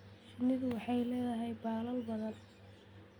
Shinnidu waxay leedahay baalal badan.